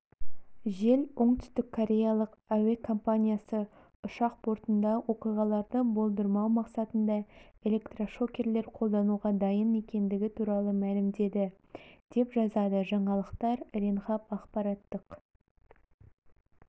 жел оңтүстік кореялық әуе компаниясы ұшақ бортында оқиғаларды болдырмау мақсатында электрошокерлер қолдануға дайын екендігі туралы мәлімдеді деп жазады жаңалықтар ренхап ақпараттық